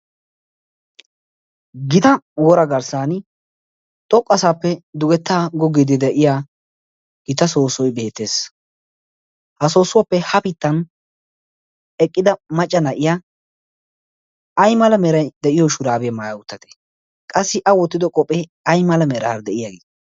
gita wora garssan xoqqu asaappe dugetta goggiidi de7iya gita soosoi beettees ha soossuwaappe hafittan eqqida macca na7iya ai mala merai de7iyo shuraabie maaya uttate qassi a woottido qohphee ai mala meraa de'iyaagii?